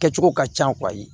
Kɛcogo ka can